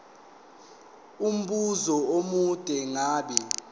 umbuzo omude ngabe